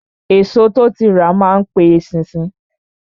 Èso tó ti rà má n pe eṣinṣin